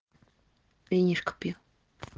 винишко пью